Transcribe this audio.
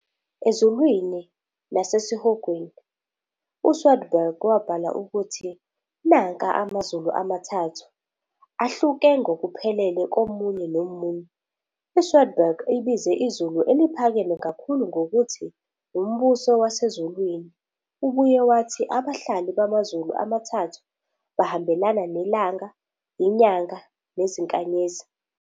"Ezulwini nasesihogweni", uSwedborg wabhala ukuthi " nanka amazulu amathathu" "ahluke ngokuphelele komunye nomunye."ISwedborg ibize izulu eliphakeme kakhulu ngokuthi "Umbuso Wasezulwini."Ubuye wathi abahlali bamazulu amathathu bahambelana "nelanga, inyanga nezinkanyezi."